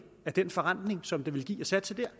af den forrentning som det vil give at satse der